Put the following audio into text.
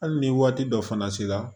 Hali ni waati dɔ fana sera